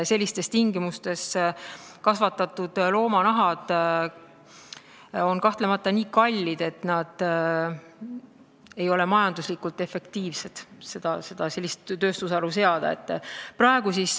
Sellistes tingimustes kasvatatud loomade nahad oleksid kahtlemata nii kallid, et see ei ole majanduslikult efektiivne.